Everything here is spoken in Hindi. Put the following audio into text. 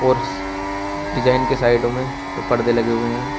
और डिजाइन के साइडो में तो परदे लगे हुए हैं।